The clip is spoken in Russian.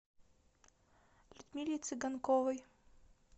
людмиле цыганковой